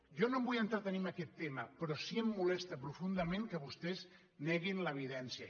jo no em vull entretenir amb aquest tema però sí que em molesta profundament que vostès neguin l’evidència